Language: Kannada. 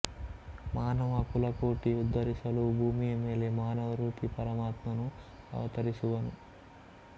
ಮಾನವ ಕುಲಕೋಟಿ ಉದ್ದರಿಸಲು ಭೂಮಿಯ ಮೇಲೆ ಮಾನವರೂಪಿ ಪರಮಾತ್ಮನು ಅವತರಿಸುವನು